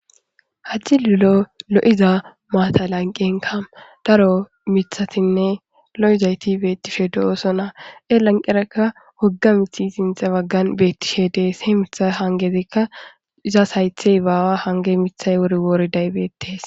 Ha cililo lo'za maata lanqenka daro mithatinne lo'izayt betishe de'osona. He bagaraka wogga mithy eqid Des. He mithay hangezika haythey izas bawa hangezi eqi uti betes.